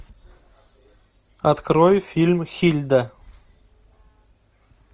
открой фильм хильда